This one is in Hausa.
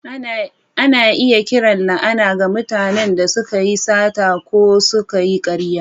Ana iya kiran la’ana ga mutanen da suka yi sata ko suka yi ƙarya.